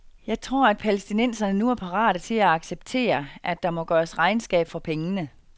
Jeg tror, at palæstinenserne nu er parate til at acceptere, at der må gøres regnskab for pengene.